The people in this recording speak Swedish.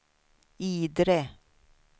Idre